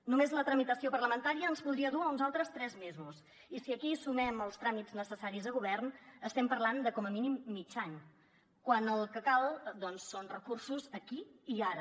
només la tramitació parlamentària ens podria dur a uns altres tres mesos i si aquí sumem els tràmits necessaris a govern estem parlant de com a mínim mig any quan el que cal doncs són recursos aquí i ara